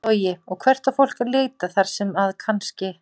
Logi: Og hvert á fólk að leita þar sem að kannski?